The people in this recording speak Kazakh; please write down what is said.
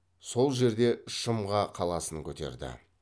сол жерде шымға қаласын көтерді